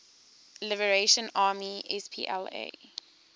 liberation army spla